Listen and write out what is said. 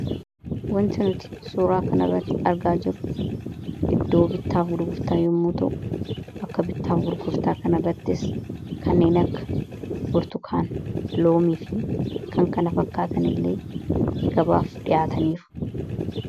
Wanti nuti suuraa kan irratti argaa jirru iddoo bittaaf gurgurtaa yommuu ta'u bakka bittaaf gurgurtaa kan irrattis kanneen akka burtukaana loomii fi kan kana fakkaatan illee gabaaf dhihaataniiru.